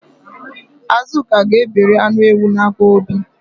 Azụka ga-ebere anụ ewu n'aka Obi